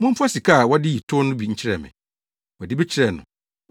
Momfa sika a wɔde yi tow no bi nkyerɛ me.” Wɔde bi kyerɛɛ no.